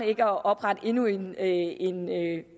ikke at oprette endnu en en